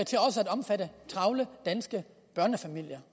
omfatte travle danske børnefamilier